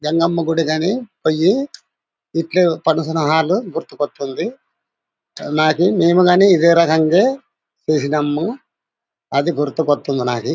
జంగమ్మ గుడి గని పోయి ఇట్లు పెనుసలహాలు గుర్తుపడుతుంది. నాకి మేము గని ఇదే రగంగ చేసినాము. అది గుర్తుకోస్తుంది నాకు.